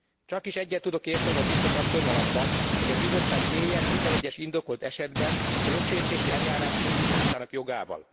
Csakis egyet tudok érteni a Biztos asszonnyal abban, hogy a Bizottság éljen minden egyes indokolt esetben a jogsértési eljárás indításának jogával.